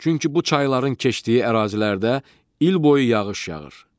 Çünki bu çayların keçdiyi ərazilərdə il boyu yağış yağır.